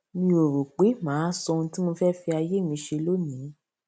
mi ò rò pé màá sọ ohun tí mo fé fi ayé mi ṣe lónìí